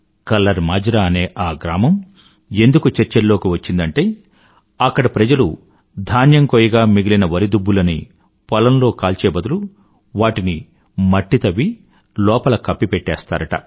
colour Majra అనే ఈ గ్రామం ఎందుకు చర్చల్లోకి వచ్చిందంటే అక్కడి ప్రజలు ధాన్యం కోయగా మిగిలిన వరి దుబ్బులని పొలంలో కాల్చే బదులు వాటిని మట్టి తవ్వి లోపల కప్పిపెట్టేస్తారుట